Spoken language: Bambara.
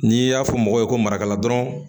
N'i y'a fɔ mɔgɔ ye ko marakala dɔrɔn